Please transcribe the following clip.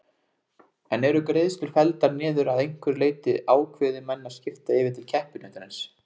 En eru greiðslur felldar niður að einhverju leyti ákveði menn að skipta yfir til keppinautarins?